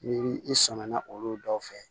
Ni i sɔmina olu dɔw fɛ